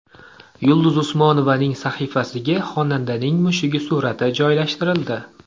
Yulduz Usmonovaning sahifasiga xonandaning mushugi surati joylashtirildi.